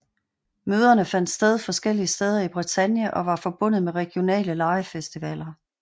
Møderne fandt sted forskellige steder i Bretagne og var forbundet med regionale legefestivaller